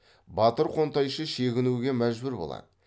батыр қонтайшы шегінуге мәжбүр болады